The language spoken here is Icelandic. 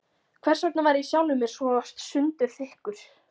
Hversvegna var ég sjálfum mér svo sundurþykkur?